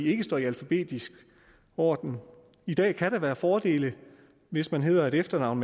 ikke står i alfabetisk orden i dag kan det være en fordel hvis man har et efternavn